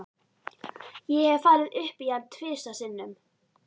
Kisurnar lepja mjólkina.